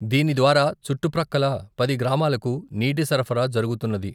దీని ద్వారా చుట్టు ప్రక్కల పది గ్రామాలకు నీటి సరఫరా జరుగుతున్నది.